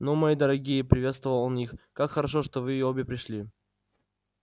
ну мои дорогие приветствовал он их как хорошо что вы обе пришли